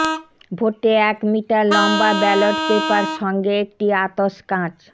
ভোটে এক মিটার লম্বা ব্যালট পেপার সঙ্গে একটি আতস কাঁচ